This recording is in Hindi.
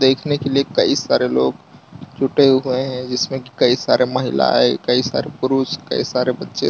दिखने के कई सारे लोग जुटे हुए हैं जिसमें कई सारे महिलाएं कई सारे पुरुष कई सारे बच्चे --